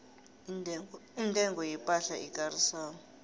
intengo yepahla ekarisako